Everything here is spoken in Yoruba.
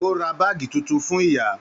O rà báàgí títún fún ìyá.